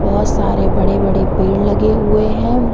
बहोत सारे बड़े बड़े पेड़ लगे हुए हैं।